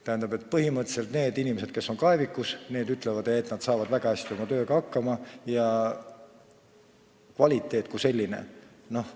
Tähendab, põhimõtteliselt need inimesed, kes on kaevikus, ütlevad, et nad saavad väga hästi oma tööga hakkama ja kvaliteet kui selline on olemas.